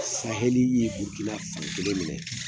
Sahɛli ye Burukina fankelen minɛ